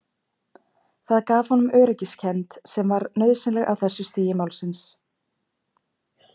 Það gaf honum öryggiskend sem var nauðsynleg á þessu stigi málsins.